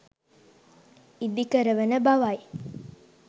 ඉදි කරවන බවයි.